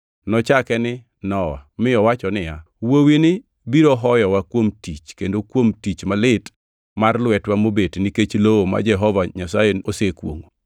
Nochake ni Nowa mi owacho niya, “Wuowini biro hoyowa kuom tich kendo kuom tich malit mar lwetwa mobet nikech lowo ma Jehova Nyasaye osekwongʼo.”